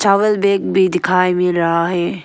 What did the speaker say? चावल बेग भी दिखाई मील रहा है।